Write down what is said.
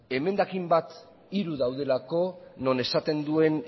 emendakin bat hiru daudelako non esaten duen